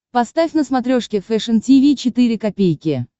поставь на смотрешке фэшн ти ви четыре ка